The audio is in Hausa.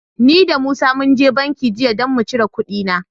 Ni da Musa mun je banki jiya don mu cire kuɗina.